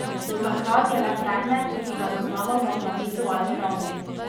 Do takrat je le predmet, ki ga zaznavamo na vizualni ravni.